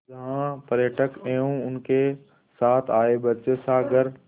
जहाँ पर्यटक एवं उनके साथ आए बच्चे सागर